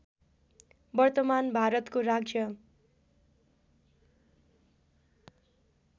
वर्तमान भारतको राज्य